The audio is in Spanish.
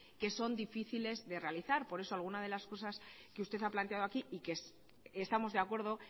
que son difíciles de realizar por eso alguna de las cosas que usted ha planteado aquí y que estamos de acuerdo